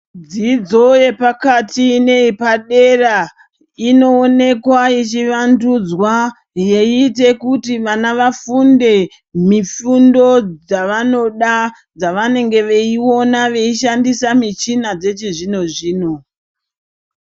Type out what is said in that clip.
Dzidzo yepakati neyepadera inoonekwa ichivandudzwa yeita kuti vana vafunde mifundo dzavanoda dzavanenge veiona veishandisa muchina dzechizvinozvino.